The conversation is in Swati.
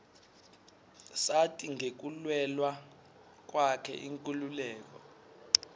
sati ngekulwela kwakhe inkhululeko